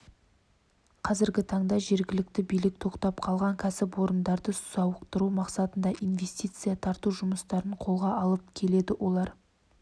қазіргі таңда жергілікті билік тоқтап қалған кәсіпорындарды сауықтыру мақсатында инвестиция тарту жұмыстарын қолға алып келеді олар